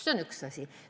See on üks asi.